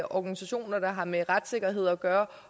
organisationer der har med retssikkerhed at gøre